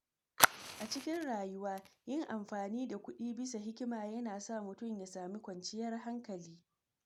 A cikin rayuwa, yin amfani da kuɗi bisa hikima yana sa mutum ya samu kwanciyar hankali.